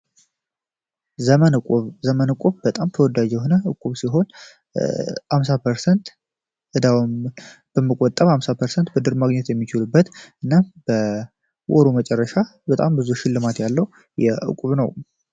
ዘመን ዘመን እቁብ በጣም ተወዳጅ የሆነ ፐርሰንት በመቆጠም አምሳ ፐርሰን ማግኘት የሚችሉበት እና ወሩ መጨረሻ በጣም ብዙ ሽልማት ያለው የእቁብ ነው